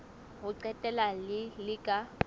ho qetela le le ka